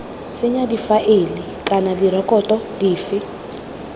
senya difaele kana direkoto dife